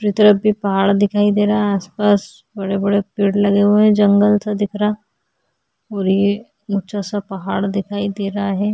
तरफ भी पहाड़ दिखाई दे रहा है आस-पास बड़े-बड़े पेड़ भी लगे हुए जंगल सा दिख रहा है और ये ऊँचा सा पहाड़ दिखाई दे रहा है ।